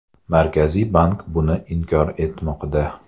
Markaziy bank buni inkor etmoqda.